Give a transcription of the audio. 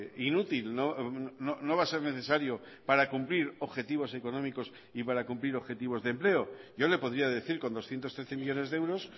inútil no va a ser necesario para cumplir objetivos económicos y para cumplir objetivos de empleo yo le podría decir con doscientos trece millónes de euros